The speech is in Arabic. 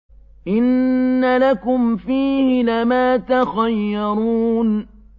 إِنَّ لَكُمْ فِيهِ لَمَا تَخَيَّرُونَ